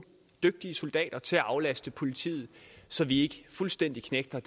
dygtige soldater til at aflaste politiet så vi ikke fuldstændig knægter